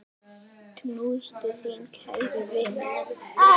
Knús til þín, kæri vinur.